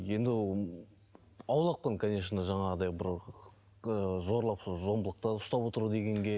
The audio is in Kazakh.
енді ы аулақпын конечно жаңағыдай бір ыыы зорлап зомбылықта ұстап отыр дегенге